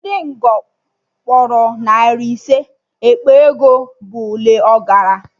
Ndị Ngbo kpọrọ narị ise, ekpe ego ebọ le ọkara